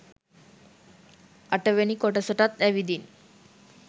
අට වෙනි කොටසටත් ඇවිදින්